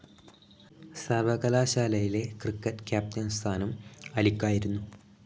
സർവകലാശാലയിലെ cricket captain സ്ഥാനം അലിക്കായിരുന്നു.